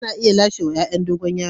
Ana iya lasewa yayan dogon yaro.